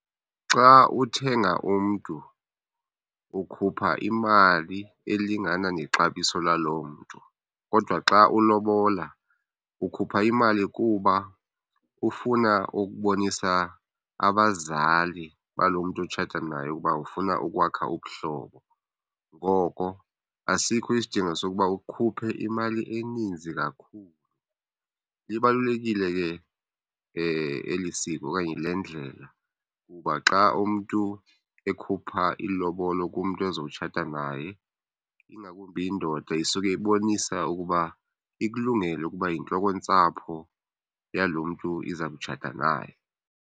Xa uthenga umntu ukhupha imali elingana nexabiso laloo mntu. Kodwa xa ulobola, ukhupha imali kuba ufuna ukubonisa abazali balo mntu utshata naye ukuba ufuna ukwakha ubuhlobo. Ngoko asikho isidingo sokuba ukhuphe imali eninzi kakhulu. Libalulekile ke eli siko okanye le ndlela ukuba xa umntu ekhupha ilobolo kumntu ezotshata naye, ingakumbi indoda, isuke ibonisa ukuba ikulungele ukuba yintloko yentsapho yalo mntu iza kutshatha naye.